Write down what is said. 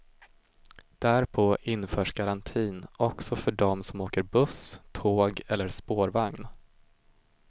Därpå införs garantin också för dem som åker buss, tåg eller spårvagn.